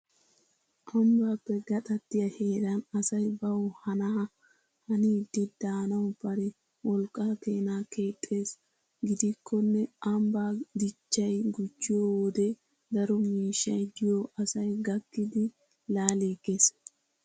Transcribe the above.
Ambbappe gaxaatiyaa heeran asay baw hanaa hanidi daanaw bari wolqqaa keena keexxees. Gidikkonne ambba dichchay gujjiyo wode daro miishshay diyo asay gakkidi laaligees.